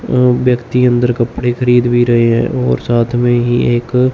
अह व्यक्ति अंदर कपड़े खरीद भी रहे हैं और साथ में ही एक--